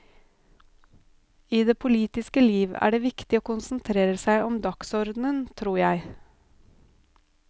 I det politiske liv er det viktig å konsentrere seg om dagsordenen, tror jeg.